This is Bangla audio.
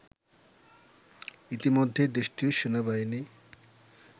ইতিমধ্যেই দেশটির সেনাবাহিনী